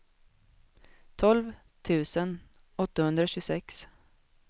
tolv tusen åttahundratjugosex